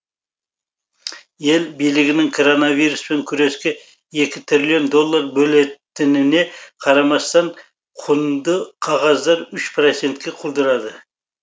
ел билігінің коронавируспен күреске екі триллион доллар бөлетініне қарамастан құнды қағаздар үш процентке құлдырады